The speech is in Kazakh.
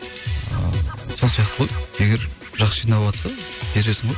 ы сол сияқты ғой егер жақсы жиналватса бересің ғой